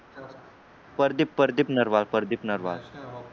Pradeep Pradeep Narwal Pradeep Narwal